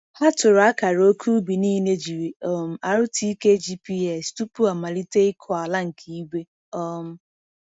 Ha tụrụ akara ókè ubi niile jiri um RTK GPS tupu a malite ịkụ ala nke igwe. um